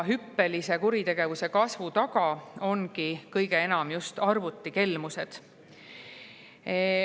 Hüppelise kuritegevuse kasvu taga ongi kõige enam arvutikelmused.